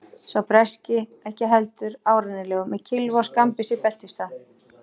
Sá breski ekki heldur árennilegur, með kylfu og skammbyssu í beltisstað.